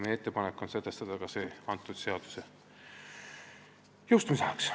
Meie ettepanek on see sätestada ka selle seaduse jõustumise ajana.